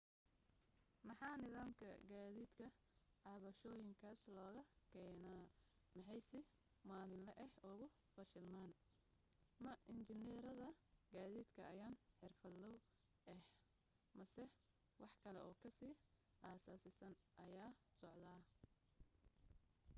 maxaa nidaamka gaadiidka cabashooyinkaas looga keenaa maxay si maalinle ah ugu fashilmaan ma injineerada gaadiidka ayaan xirfadloow ah mise wax kale oo ka sii asaasisan ayaa socda